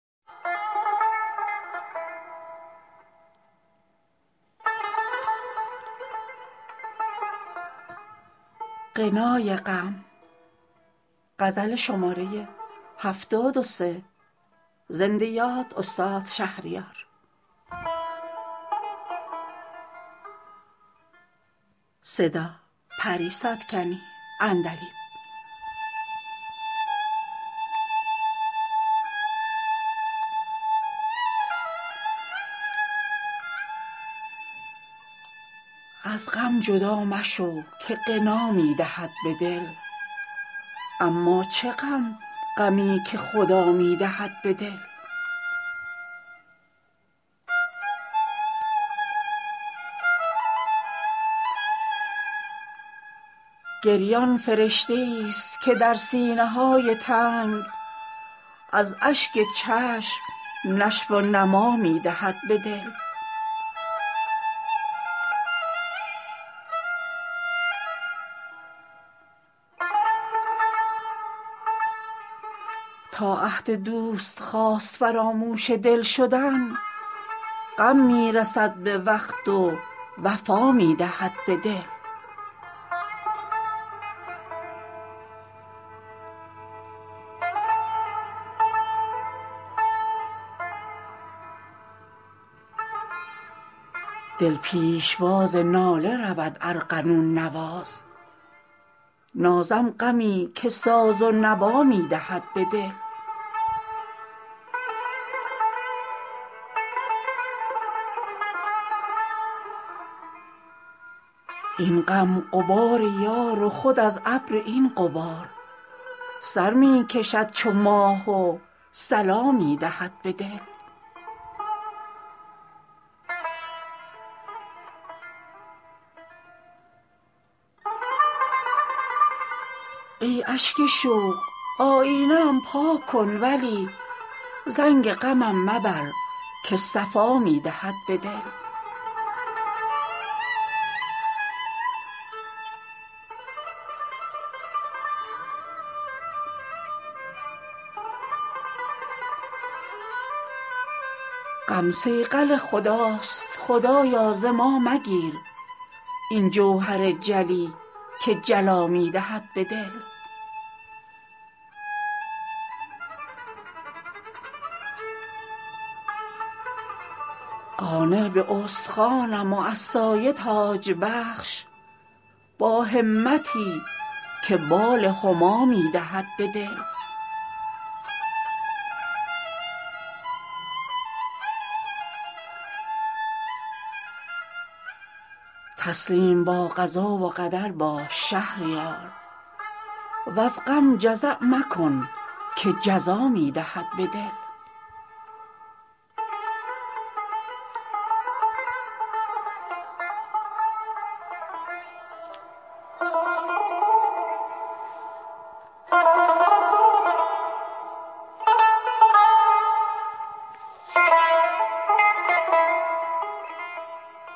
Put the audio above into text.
از غم جدا مشو که غنا می دهد به دل اما چه غم غمی که خدا می دهد به دل گریان فرشته ای ست که در سینه های تنگ از اشک چشم نشو و نما می دهد به دل این صبر تلخ و نغمه شیرین طبیب ماست با اشک شور خود که شفا می دهد به دل چون شیر مادران که بود مستحیل خون غم هم به استحاله غذا می دهد به دل بس خنده ها که ظلم تن و ظلمت دل است ای زنده باد غم که ضیا می دهد به دل تا عهد دوست خواست فراموش دل شدن غم می رسد به وقت و وفا می دهد به دل دل پیشواز ناله رود ارغنون نواز نازم غمی که ساز و نوا می دهد به دل این غم غبار یار و خود از ابر این غبار سر می کشد چو ماه و صلا می دهد به دل سلطان دل صلای بلا للولا زده است تا دل ولی اوست بلا می دهد به دل فتح از مجاهدی ست که دل در جهاد نفس تا شد اسیر جان به فدا می دهد به دل صحرا و سنگلاخ ضلال است هوشدار این غم نشان راه هدا می دهد به دل غم خضر ما و چشمه اش این چشم اشکبار وین چشمه قطره قطره بقا می دهد به دل ای اشک شوق آینه ام پاک کن ولی زنگ غمم مبر که صفا می دهد به دل غم صیقل خداست خدایا ز ما مگیر این جوهر جلی که جلا می دهد به دل قانع به استخوانم و از سایه تاج بخش با همتی که بال هما می دهد به دل تسلیم با قضا و قدر باش شهریار وز غم جزع مکن که جزا می دهد به دل